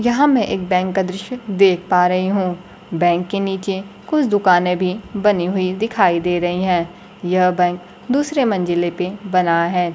यहां मैं एक बैंक का दृश्य देख पा रही हूं बैंक के नीचे कुछ दुकानें में भी बनी हुई दिखाई दे रही हैं यह बैंक दूसरे मंजिले पे बना है।